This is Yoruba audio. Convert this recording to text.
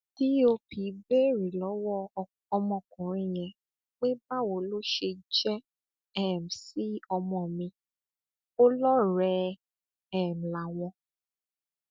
dóp béèrè lọwọ ọmọkùnrin yẹn pé báwo ló ṣe jẹ um sí ọmọ mi ò lọrẹẹ um láwọn